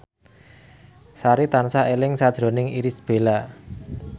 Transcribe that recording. Sari tansah eling sakjroning Irish Bella